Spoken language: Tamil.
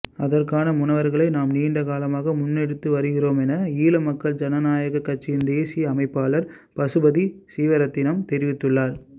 அதற்கான முன்னகர்வகளை நாம் நீண்டகாலமாக முன்னெடுத்து வருகின்றோம் என ஈழமக்கள் ஜனநாயக கட்சியின் தேசிய அமைப்பாளர் பசுபதி சீவரத்தினம் தெரிவித்துள்ளார்